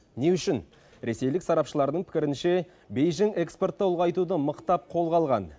не үшін ресейлік сарапшылардың пікірінше бейжің экспортты ұлғайтуды мықтап қолға алған